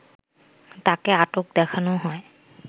তাকে আটক দেখানো হয়